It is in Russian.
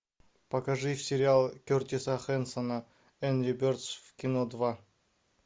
покажи сериал кертиса хэнсона энгри бердс в кино два